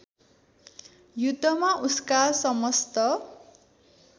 युद्धमा उसका समस्त